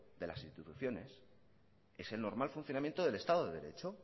de las instituciones es el normal funcionamiento del estado de derecho